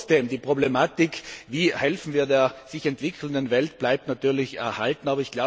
Trotzdem bleibt die Problematik, wie helfen wir der sich entwickelnden Welt, natürlich erhalten.